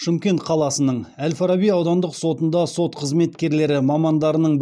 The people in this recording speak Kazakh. шымкент қаласының әл фараби аудандық сотында сот қызметкерлері мамандарының